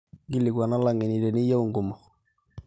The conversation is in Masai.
nkilikuana lageni teniyieu nkumok